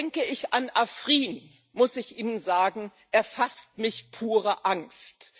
Denke ich an Afrin, muss ich Ihnen sagen, erfasst mich pure Angst.